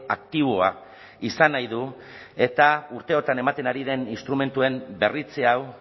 aktiboa izan nahi du eta urte hauetan ematen ari den instrumentuen berritze hau